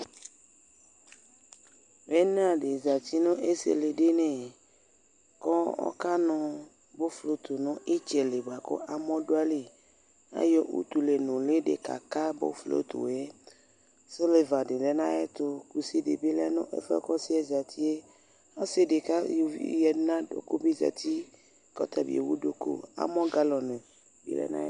Ina di zati nu isili dini kɔkanu nuflo nitsɛlikamɔdayili ka ayɔ utu nuli kaka nuflo siliva di le nayetu kusi dibile nɛfuɛbuaku ɔsi zati kɔsidi ama uvi nadukulu kamɔ nu galɔni dibi dɛfɛ